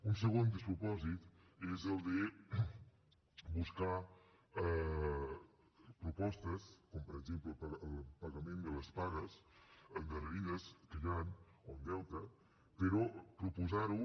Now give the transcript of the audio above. un segon despropòsit és el de buscar propostes com per exemple el pagament de les pagues endarrerides que hi han com a deute però proposar ho